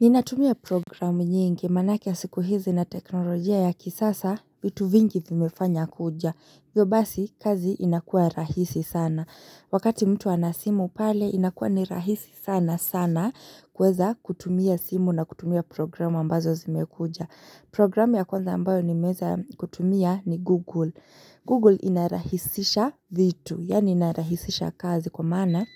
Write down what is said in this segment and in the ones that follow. Ninatumia programu nyingi, maanake siku hizi na teknolojia ya kisasa, vitu vingi vimefanya kuja. Hivyo basi, kazi inakua rahisi sana. Wakati mtu ana simu pale, inakua nirahisi sana sana, kuweza kutumia simu na kutumia programu ambazo zimekuja. Programu ya kwanza ambayo nimeweza kutumia ni Google. Google inarahisisha vitu, yaani inarahisisha kazi kwa maana,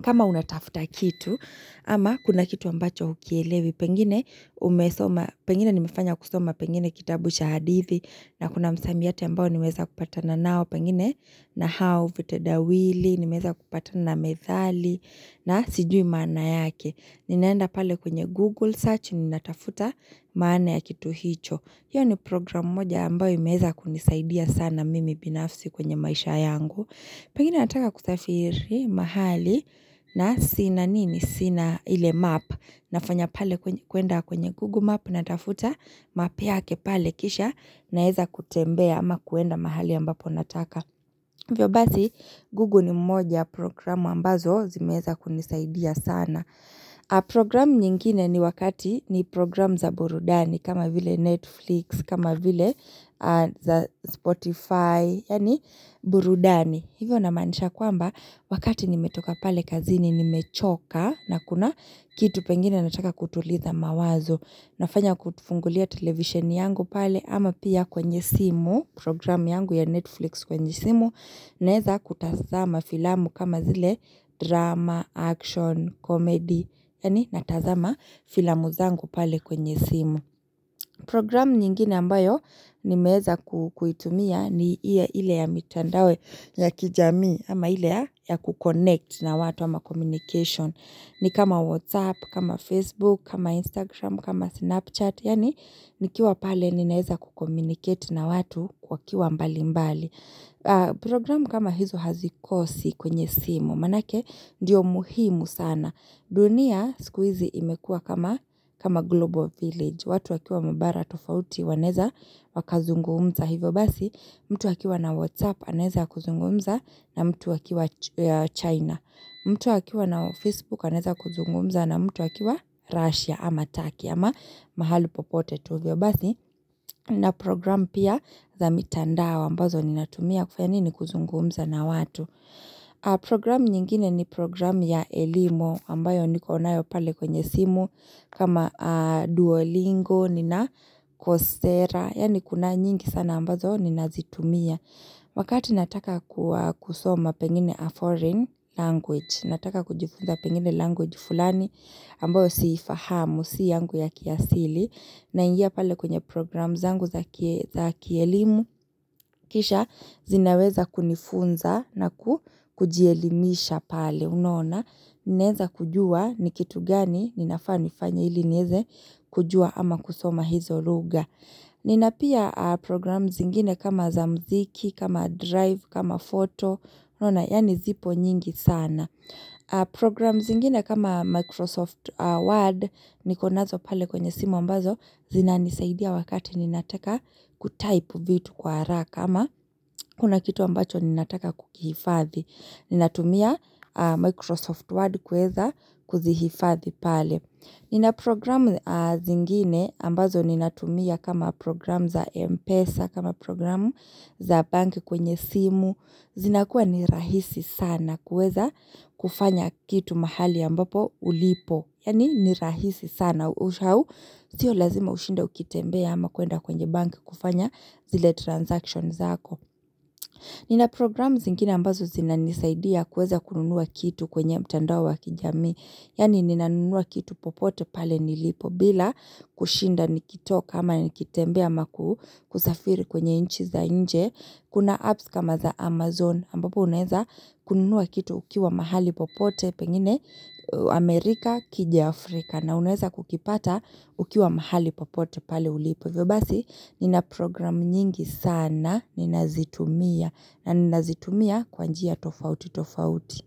kama unatafuta kitu ama kuna kitu ambacho hukielewi, pengine umesoma, pengine nimefanya kusoma pengine kitabu cha hadithi, na kuna msamiati mbao nimeweza kupatana nao, pengine na hao vitedawili, nimeweza kupatana methali, na sijui maana yake. Ninaenda pale kwenye Google search ninatafuta maana ya kitu hicho. Hiyo ni programu moja ambayo imeza kunisaidia sana mimi binafsi kwenye maisha yangu. Pengine nataka kusafiri mahali na sina nini sina ile map nafanya pale kuenda kwenye google map natafuta map yake pale kisha naweza kutembea ama kuenda mahali ambapo nataka. Hivyo basi google ni moja ya programu ambazo zimeweza kunisaidia sana. Programu nyingine ni wakati ni programu za burudani kama vile Netflix kama vile Spotify yaani burudani hivyo namaanisha kwamba wakati nimetoka pale kazini nimechoka na kuna kitu pengine nataka kutuliza mawazo nafanya kufungulia televisheni yangu pale ama pia kwenye simu programu yangu ya Netflix kwenye simu naweza kutazama filamu kama vile drama, action, comedy yaani natazama filamu zangu pale kwenye simu. Programu nyingine ambayo nimeweza kuitumia ni ile ile ya mitandao ya kijamii ama ile ya kukonnect na watu ama communication. Ni kama Whatsapp, kama Facebook, kama Instagram, kama Snapchat, yaani nikiwa pale ninaweza kucommunicate na watu wakiwa mbali mbali. Programu kama hizo hazikosi kwenye simu, manaake ndiyo muhimu sana. Dunia siku hzi imekua kama kama Global Village. Watu wakiwa mubara tofauti wanaweza wakazungumza hivyo basi mtu wakiwa na Whatsapp anaweza kuzungumza na mtu akiwa China mtu akiwa na Facebook anaweza kuzungumza na mtu akiwa Russia ama Turkey ama mahali popote tu hivyo basi na programu pia za mitandao wa ambazo ni natumia kufanya nini kuzungumza na watu Programu nyingine ni programu ya elimu ambayo nikonayo pale kwenye simu kama Duolingo, Nina Kostera, yani kuna nyingi sana ambazo ninazitumia. Wakati nataka kusoma pengine a foreign language, nataka kujifunza pengine language fulani ambayo siifahamu, sio yangu ya kiasili. Naingia pale kwenye programu zangu za kielimu, kisha zinaweza kunifunza na kujielimisha pale. Unaona, ninaweza kujua ni kitu gani, ninafaa nifanye ili niweze kujua ama kusoma hizo lugha. Nina pia programu zingine kama za mziki, kama drive, kama foto, unaona yaani zipo nyingi sana. Programu zingine kama Microsoft Word, nikonazo pale kwenye simu ambazo, zinanisaidia wakati ninataka kutype vitu kwa haraka. Kama kuna kitu ambacho ninataka kukihifadhi. Ninatumia Microsoft Word kuweza kuzihifadhi pale. Ninaprogramu zingine ambazo ninatumia kama programu za Mpesa, kama programu za bank kwenye simu. Zinakuwa ni rahisi sana kuweza kufanya kitu mahali ambapo ulipo. Yaani ni rahisi sana ushau. Sio lazima ushinde ukitembea ama kuenda kwenye bank kufanya zile transactions hako. Nina program zingine ambazo zina nisaidia kuweza kununua kitu kwenye mtandao wa kijamii. Yaani ninanunua kitu popote pale nilipo bila kushinda nikitoka ama nikitembea ama kusafiri kwenye nchi za nje. Kuna apps kama za Amazon ambapo unaweza kununua kitu ukiwa mahali popote pengine Amerika ikija Afrika. Na unaweza kukipata ukiwa mahali popote pale ulipo. Hivyo basi, nina programu nyingi sana ninazitumia. Na ninazitumia kwa njia tofauti tofauti.